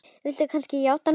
Viltu kannski játa núna?